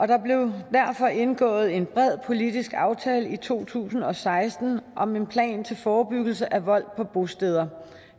der blev derfor indgået en bred politisk aftale i to tusind og seksten om en plan til forebyggelse af vold på bosteder